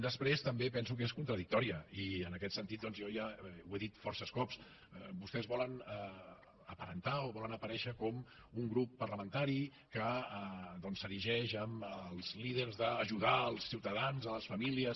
després també penso que és contradictòria i en aquest sentit doncs jo ja ho he dit força cops vostès volen aparentar o volen aparèixer com un grup parlamentari que s’erigeix en els líders d’ajudar els ciutadans les fa·mílies